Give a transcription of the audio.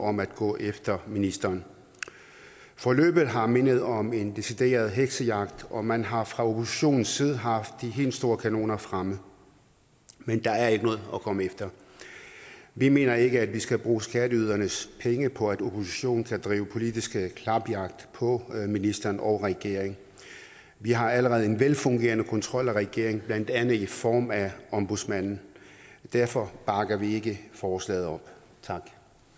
om at gå efter ministeren forløbet har mindet om en decideret heksejagt og man har fra oppositionens side haft de helt store kanoner fremme men der er ikke noget at komme efter vi mener ikke at vi skal bruge skatteydernes penge på at oppositionen kan drive politisk klapjagt på ministeren og regeringen vi har allerede en velfungerende kontrol af regeringen blandt andet i form af ombudsmanden derfor bakker vi ikke forslaget op tak